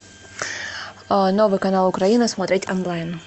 новый канал украина смотреть онлайн